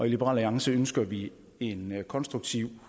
liberal alliance ønsker vi en konstruktiv